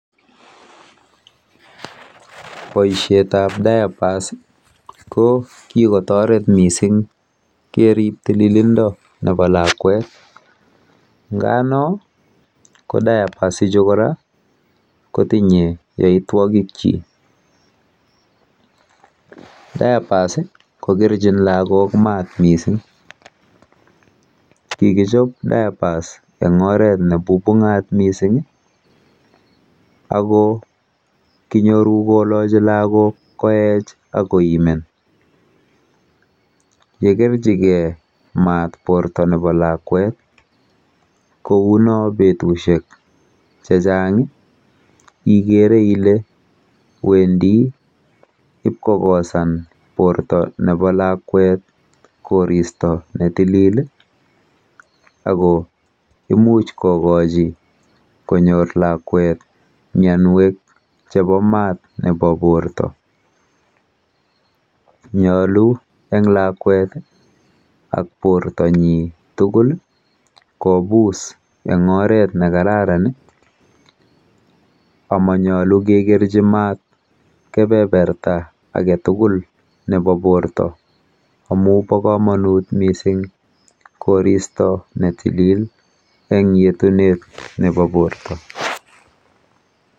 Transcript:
Boishetap diapers ko kikotoret mising kerip tililindo nepo lakwet nga no ko diapers ichu kora kotinye yoitwokikchi. diapers kokerchin lagok mat mising, kikichop diapers eng oret nebubung'at mising ako kinyoru kolochi lagok koech ak koimen. yekerchigei mat porto nepo lakwet kouno betushek chechang, ikere ile wendi ipkokosan porto nepo lakwet koristo netilil ako imuch kokochi konyor lakwet mianwek chepo mat nepo porto. Nyolu eng lakwet ak portonyi tugul kobus eng oret nekararan amanyolu kekerchi mat kepeperta aketugul nepo porto amu po komonut mising koristo netilil eng yetunet nepo porto.